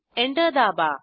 enter दाबा